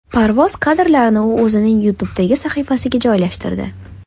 Parvoz kadrlarini u o‘zining YouTube’dagi sahifasiga joylashtirdi .